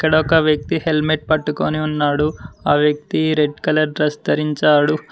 ఇక్కడొక వ్యక్తి హెల్మెట్ పట్టుకొని ఉన్నాడు ఆ వ్యక్తి రెడ్ కలర్ డ్రెస్ ధరించాడు.